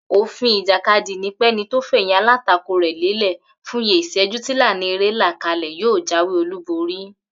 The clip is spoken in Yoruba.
Òfin ìjàkadì ni pẹ́ni tó fè̩yìn alátakò rè̩ lélè̩ fúnye ìs̩é̩jú tílànà eré là kalè̩ yóò jáwé olúborí